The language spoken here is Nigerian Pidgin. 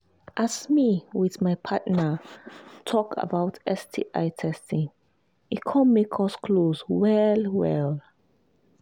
as me with my partner talk about talk about sti testing e come make us close well well